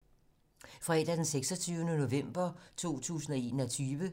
Fredag d. 26. november 2021